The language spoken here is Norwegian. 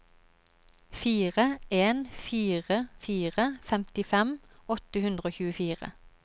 fire en fire fire femtifem åtte hundre og tjuefire